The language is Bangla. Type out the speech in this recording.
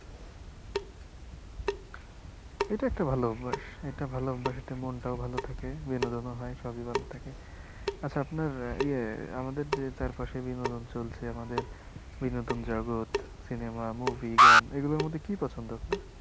এটা একটা ভালো অভ্যাস এটা ভালো অভ্যাস এটা মনটাও ভালো থাকে বিনোদনও হয় সবি ভালো থাকে আচ্ছা আপনার ইএ আমাদের যে চারপাশে বিনোদন চলছে আমাদের বিনোদন জগৎ cinema movie গান এগুলোর মধ্যে কি পছন্দ আপনার